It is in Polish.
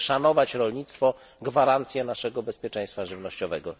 Musimy szanować rolnictwo gwarancję naszego bezpieczeństwa żywnościowego.